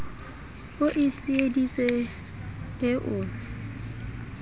e o tsieditse e o